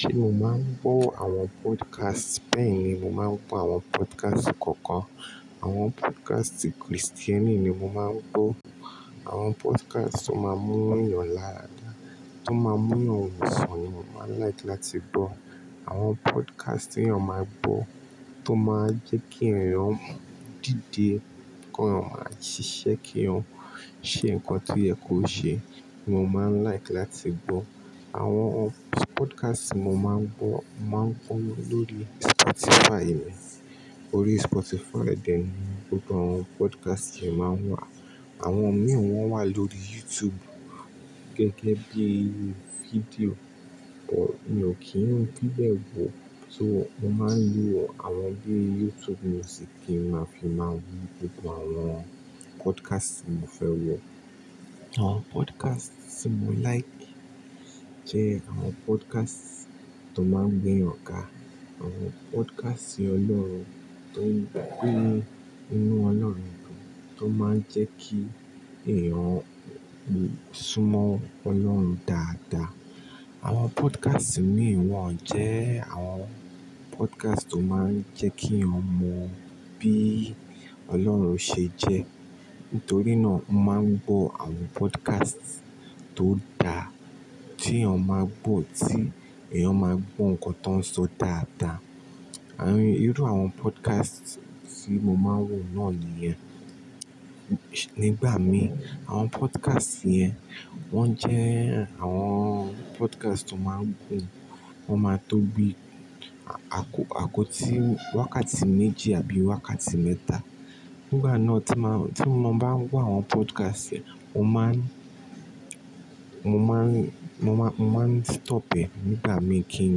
Ṣé mo máa ń gbọ́ àwọn podcast? Bẹ́ẹ̀ ni, mo máa ń gbọ́ àwọn podcast kọ̀ọ̀kan. Àwọn podcast Kristẹni ni mo máa ń gbọ́. Àwọn podcast tó máa ń mú èèyàn lára, tó máa ń mú èèyàn wòsàn ni mo máa n like láti gbọ́. Àwọn podcast tí èèyàn máa gbọ́ tó máa ń jẹ́ kí èèyàn dìde kèèyàn máa ṣiṣẹ́, kèèyàn ṣe nǹkan tío ye ko ṣe ni mo máa n like láti gbọ́. Àwọn podcast ti mo máa ń gbọ́, mo máa ń gbọ́ lóri Spotify mi. Orí Spotify dẹ̀ ni gbogbo àwọn podcast yii máa ń wà. Àwọn míì wọn wà lórí YouTube gẹ́gẹ́ bí i fídíò, but mi ò kí ń fi bẹ́ẹ̀ gbò. So mo máa ń lo àwọn bíi YouTube music kí n máa fi máa rí gbogbo àwọn podcast tí mo fẹ́ wò. Àwọn podcast tí mo like jẹ́ àwọn podcast tó máa ń gbé èèyàn ga, àwọn podcast Ọlọ́run tó ń gbé inú Ọlọ́run dùn, tó máa ń jẹ́ kí èèyàn súnmọ́ Ọlọ́run dáadáa. Àwọn podcast míì wọ-on jẹ́ àwọn podcast tó máa ń jẹ́ ki yan mo bí Ọlọ́run ṣe jẹ́. Nítorí náà mo máa ń gbọ́ àwọn podcast tó dá, tí èèyàn máa gbọ́, tí èèyàn máa gbọ́ nǹkan tó ń sọ dáadáa. Irú àwọn podcast tí mo máa ń wò náà nìyẹn. Nígbà mi àwọn podcast yẹn wọ́n jẹ́ àwọn podcast tó máa ń gùn, wọ́n máa tóbi àkọ, àkọ tí wákàtí méjì àbí wákàtí mẹ́ta. Nígbà náà tí mo, tí mo bá ń gbọ́ àwọn podcast yẹn, mo máa ń, mo máa ń, mo máa ń stop ẹ nígbà mí kí n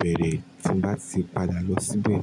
bẹ̀rẹ̀ tí n bá ti padà lọ síbẹ̀.